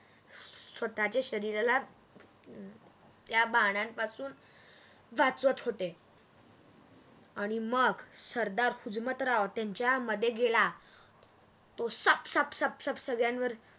स्वतःच्या शरीराला त्या बाणा पासून वाचवत होते आणि मग सरदार हुजमतराव त्यांच्या मध्ये गेला तो सप सप सप संगळ्यांवर